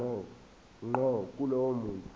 ngqo kulowo muntu